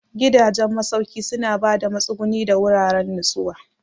Gidajen masauki suna ba da matsuguni da wuraren nutsuwa.